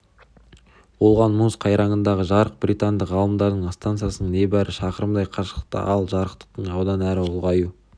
болған мұз қайраңындағы жарық британдық ғалымдардың стансасынан небәрі шақырымдай қашықтықта ал жарықтың одан әрі ұлғаю